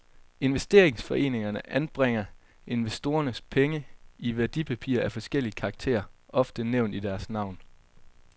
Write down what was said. Investeringsforeningerne anbringer investorernes penge i værdipapirer af forskellig karakter, ofte nævnt i deres navn.